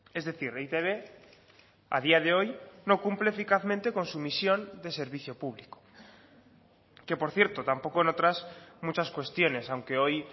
es decir e i te be a día de hoy no cumple eficazmente con su misión de servicio público que por cierto tampoco en otras muchas cuestiones aunque hoy